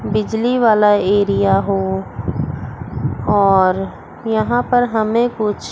बिजली वाला एरिया हो और यहां पर हमें कुछ--